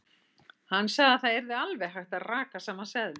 Hann sagði að það yrði alveg hægt að raka saman seðlum.